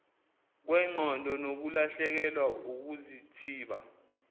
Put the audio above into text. kwengqondo nokulahlekelwa ukuzithiba